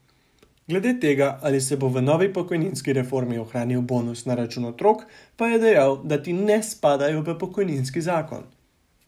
Glede tega, ali se bo v novi pokojninski reformi ohranil bonus na račun otrok, pa je dejal, da ti ne spadajo v pokojninski zakon.